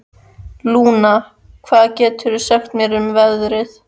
Lúna, hvað geturðu sagt mér um veðrið?